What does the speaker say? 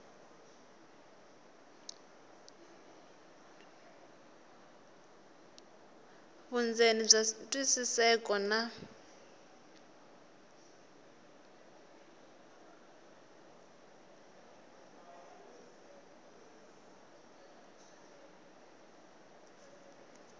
vundzeni bya twisiseka na